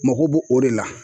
Moko b'o o de la